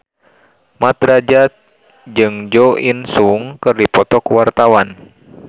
Mat Drajat jeung Jo In Sung keur dipoto ku wartawan